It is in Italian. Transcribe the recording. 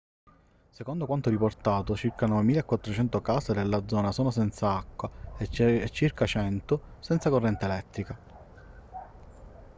secondo quanto riportato circa 9400 case della zona sono senza acqua e circa 100 senza corrente elettrica